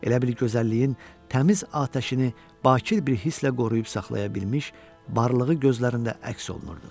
Elə bil gözəlliyin təmiz atəşini bakir bir hisslə qoruyub saxlaya bilmiş varlığı gözlərində əks olunurdu.